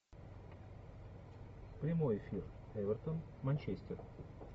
прямой эфир эвертон манчестер